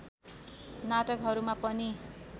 नाटकहरूमा पनि